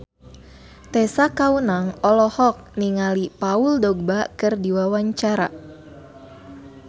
Tessa Kaunang olohok ningali Paul Dogba keur diwawancara